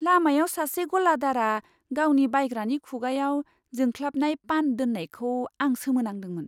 लामायाव सासे गलादारआ गावनि बायग्रानि खुगायाव जोंख्लाबनाय पान दोननायखौ आं सोमोनांदोंमोन।